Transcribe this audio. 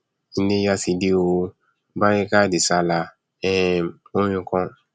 iléya ti dé o barika de sallah um orin kan